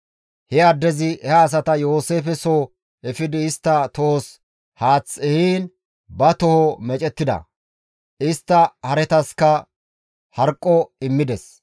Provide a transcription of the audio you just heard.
He addezi he asata Yooseefe soo efidi istta tohos haath ehiin ba toho meecettida. Istta haretaska harqqo immides.